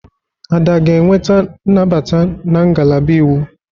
Ada ga-enweta nnabata na ngalaba Iwu?